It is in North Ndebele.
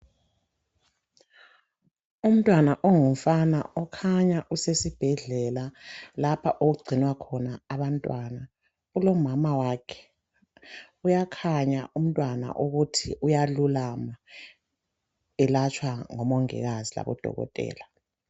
Umntwana ongumfana ukhanya usesibhedlela lapho okugcinwa khona abantwana ulo mama wakhe. Uyakhanya umntwana ukuthi uyalulama elatshwa ngo mongikazi labo dokotela